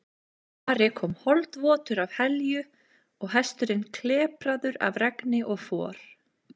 Ari kom holdvotur af Helju og hesturinn klepraður af regni og for.